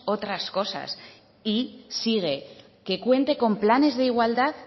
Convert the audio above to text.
otras cosas y sigue que cuente con planes de igualdad